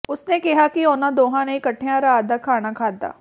ਉਸ ਨੇ ਕਿਹਾ ਕਿ ਉਨ੍ਹਾਂ ਦੋਵਾਂ ਨੇ ਇਕੱਠਿਆਂ ਰਾਤ ਦਾ ਖਾਣਾ ਖਾਧਾ